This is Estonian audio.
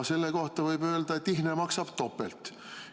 Selle kohta võib öelda, et ihne maksab topelt.